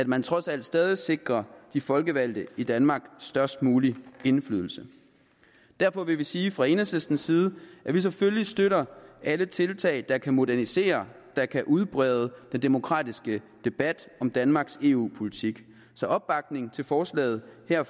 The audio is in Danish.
man trods alt stadig sikrer de folkevalgte i danmark størst mulig indflydelse derfor vil vi sige fra enhedslistens side at vi selvfølgelig støtter alle tiltag der kan modernisere og udbrede den demokratiske debat om danmarks eu politik så opbakning til forslaget her